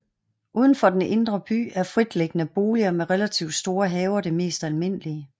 Uden for den indre by er fritliggende boliger med relativt store haver det mest almindelige